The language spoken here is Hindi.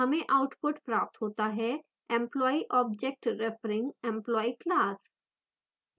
हमें output प्राप्त होता है: employee object referring employee class